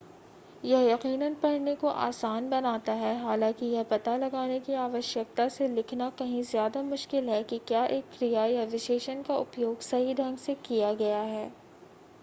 यह यकीनन पढ़ने को आसान बनाता है हालांकि यह पता लगाने की आवश्यकता से लिखना कंही ज्यादा मुश्किल है कि क्या एक क्रिया या विशेषण का उपयोग सही ढंग से किया गया है